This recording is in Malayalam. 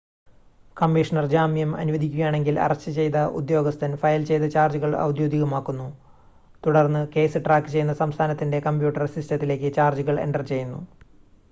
കമ്മീഷണർ ജാമ്യം അനുവദിക്കുകയാണെങ്കിൽ അറസ്റ്റ് ചെയ്ത ഉദ്യോഗസ്ഥൻ ഫയൽ ചെയ്ത ചാർജുകൾ ഔദ്യോഗികമാക്കുന്നു തുടർന്ന് കേസ് ട്രാക്ക് ചെയ്യുന്ന സംസ്ഥാനത്തിൻ്റെ കമ്പ്യൂട്ടർ സിസ്റ്റത്തിലേക്ക് ചാർജുകൾ എൻ്റർ ചെയ്യുന്നു